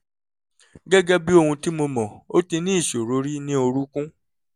gẹ́gẹ́ bí ohun tí mo mọ̀ ó ti níṣòro rí ní orúnkún